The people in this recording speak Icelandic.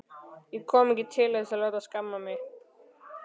Ég kom ekki til þess að láta skamma mig.